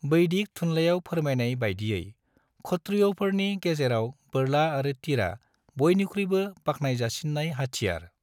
वैदिक थुनलायाव फोरमायनाय बायदियै, क्षत्रिय'फोरनि गेजेराव बोरला आरो तीरा बयनिख्रुयबो बाख्नायजासिन्नाय हाथियार।